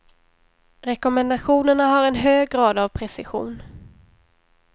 Rekommendationerna har en hög grad av precision.